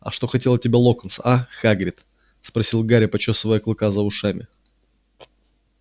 а что хотел от тебя локонс а хагрид спросил гарри почёсывая клыка за ушами